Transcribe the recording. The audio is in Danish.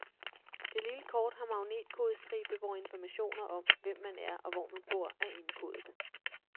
Det lille kort har magnetkodestribe, hvor informationer om, hvem man er og hvor man bor, er indkodet.